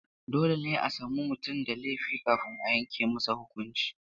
Dole ne a sami mutum da laifi kafin a yanke masa huƙunci.